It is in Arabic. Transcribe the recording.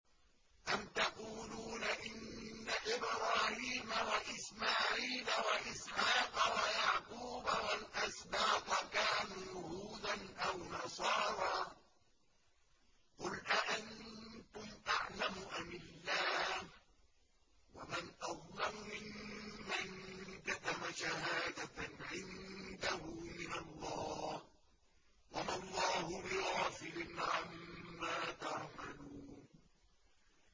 أَمْ تَقُولُونَ إِنَّ إِبْرَاهِيمَ وَإِسْمَاعِيلَ وَإِسْحَاقَ وَيَعْقُوبَ وَالْأَسْبَاطَ كَانُوا هُودًا أَوْ نَصَارَىٰ ۗ قُلْ أَأَنتُمْ أَعْلَمُ أَمِ اللَّهُ ۗ وَمَنْ أَظْلَمُ مِمَّن كَتَمَ شَهَادَةً عِندَهُ مِنَ اللَّهِ ۗ وَمَا اللَّهُ بِغَافِلٍ عَمَّا تَعْمَلُونَ